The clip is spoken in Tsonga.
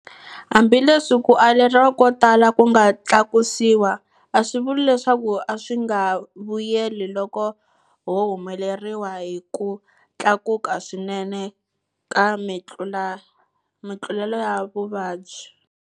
Hambileswi ku aleriwa ko tala ku nga tlakusiwa, a swi vuli leswaku a swi nga vuyeli loko ho humeleriwa hi ku tlakuka swinene ka mitluletovuvabyi.